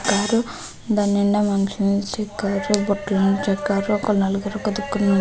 దాని నిండా మనుషులు చెక్కారు బుట్టలను చెక్కారు ఒక నలుగురు --